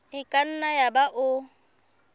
e ka nna yaba o